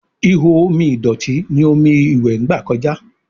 Ihò omi ìdọ̀tí ní omí iwe gba kọjá